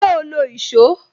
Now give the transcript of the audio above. Ṣé o lo èsó?